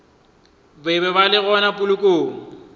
be ba le gona polokong